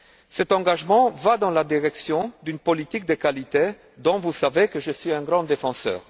Cet engagement va dans la direction d'une politique de qualité dont vous savez que je suis un grand défenseur.